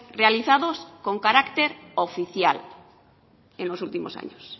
realizados con carácter oficial en los últimos años